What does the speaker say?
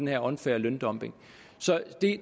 her unfair løndumping